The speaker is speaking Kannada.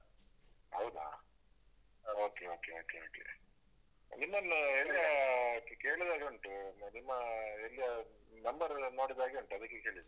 ಹೌದಾ? Okay, okay, okay ನಿಮ್ಮನ್ನು ಎಲ್ಲಿಯಾ ಕೇಳಿದ ಹಾಗೆ ಉಂಟು, ನಿಮ್ಮ ಎಲ್ಲಿಯಾ number ಎಲ್ಲ ನೋಡಿದ ಹಾಗೆ ಉಂಟು ಅದಕ್ಕೆ ಕೇಳಿದ್ದು.